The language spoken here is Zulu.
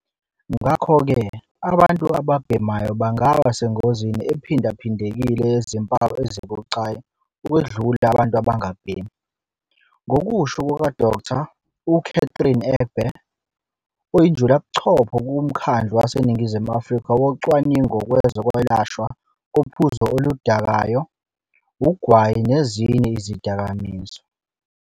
Ngakho-ke, abantu ababhemayo bangaba sengozini ephindaphindekile yezimpawu ezibucayi ukwedlula abantu abangabhemi, ngokusho kuka-Dkt. u-Catherine Egbe, oyinjulabuchopho kuMkhandlu WaseNingizimu Afrika Wocwaningo Kwezokwelashwa kophuzo oludakayo, ugwayi kanye nezinye izidakamizwa.